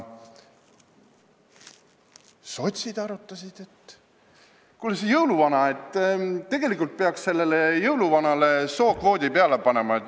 Sotsid arutasid, et kuule, tegelikult peaks jõuluvanale sookvoodi peale panema.